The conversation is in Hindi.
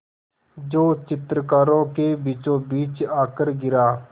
जो चित्रकारों के बीचोंबीच आकर गिरा